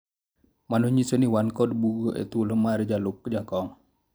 mano nyiso ni wan kod bugo e thuolo mar jalup jakom